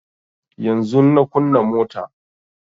Yanzun na kunna mota